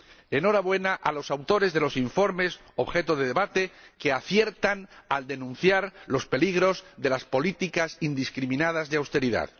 Enhorabuena a los autores de los informes objeto de debate, que aciertan al denunciar los peligros de las políticas indiscriminadas de austeridad.